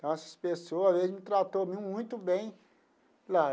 Então, essas pessoas, eles me tratam muito bem lá.